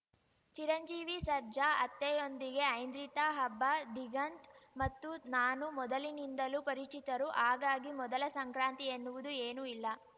ಚಿರಂಜೀವಿ ಸರ್ಜಾ ಅತ್ತೆಯೊಂದಿಗೆ ಐಂದ್ರಿತಾ ಹಬ್ಬ ದಿಗಂತ್‌ ಮತ್ತು ನಾನು ಮೊದಲಿನಿಂದಲೂ ಪರಿಚಿತರು ಹಾಗಾಗಿ ಮೊದಲ ಸಂಕ್ರಾಂತಿ ಎನ್ನುವುದು ಏನೂ ಇಲ್ಲ